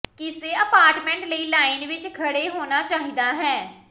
ਕਿਸੇ ਅਪਾਰਟਮੈਂਟ ਲਈ ਲਾਈਨ ਵਿੱਚ ਖੜ੍ਹੇ ਹੋਣਾ ਚਾਹੀਦਾ ਹੈ